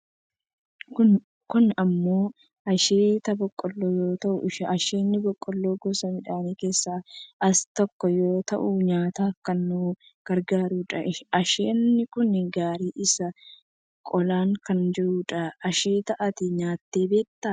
Kun ammoo asheeta boqoolloo yoo ta'u, asheenni boqqoolloo gosa midhaanii keessaa usa tokko yoo ta'u nyaataaf kan nu gargaarudha. Asheenni kun gariin isaa qolaan kan jirudha. Asheeta ati nyaattee beektaa?